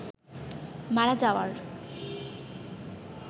মারা যাওয়ার